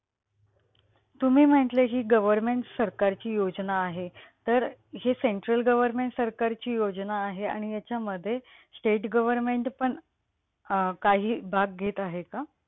तुम्ही म्हटले हि government सरकारची योजना आहे. तर हे central government सरकारची योजना आहे आणि याच्यामध्ये state government पण अं काही भाग घेत आहे का?